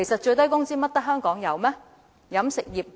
難道只有香港有飲食業嗎？